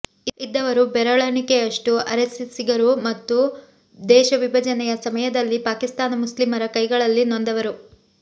ಇದ್ದವರು ಬೆರಳೆಣಿಕೆಯಷ್ಟು ಆರೆಸ್ಸಿಸ್ಸಿಗರು ಮತ್ತು ದೇಶ ವಿಭಜನೆಯ ಸಮಯದಲ್ಲಿ ಪಾಕಿಸ್ತಾನಿ ಮುಸ್ಲಿಮರ ಕೈಗಳಲ್ಲಿ ನೊಂದವರು